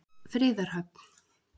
Friðarhöfn